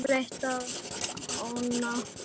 Hitt breiddi hann oná hann.